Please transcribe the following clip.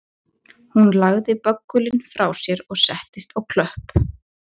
Hún lagði böggulinn frá sér og settist á klöpp